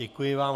Děkuji vám.